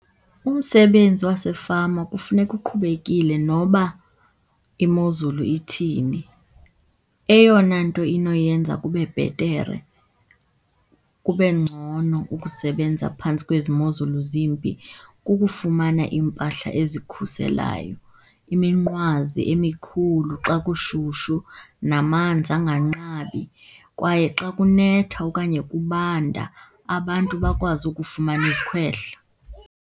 Umsebenzi wasefama kufuneka uqhubekile noba imozulu ithini. Eyona nto inoyenza kube bhetere, kube ngcono, ukusebenza phantsi kwezi mozulu zimbi kukufumana iimpahla ezikhuselayo, iminqwazi emikhulu xa kushushu namanzi anganqabi. Kwaye xa kunetha okanye kubanda, abantu bakwazi ukufumana izikhwehla.